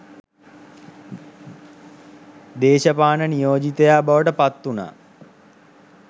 දේශපාන නියෝජිතයා බවට පත්වුණා.